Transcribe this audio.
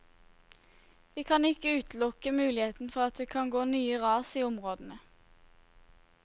Vi kan ikke utelukke muligheten for at det kan gå nye ras i områdene.